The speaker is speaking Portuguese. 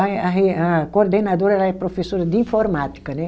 Aí a re a coordenadora, ela é professora de informática, né?